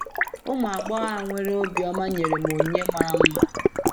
Ụmụ agbọghọ a nwere obiọma nyere m onyinye mara mma